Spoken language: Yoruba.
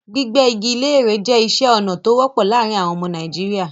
Gbígbẹ́ igi léèrè jẹ́ iṣẹ́ ọnà tó wọ́pọ̀ láàárin àwọn àwọn ọmọ Nàìjíríà.